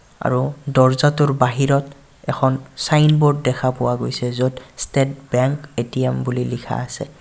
আৰু দৰ্জাটোৰ বাহিৰত এখন ছাইনবোৰ্ড দেখা পোৱা গৈছে য'ত ষ্টেট বেংক এ_টি_এম বুলি লিখা আছে.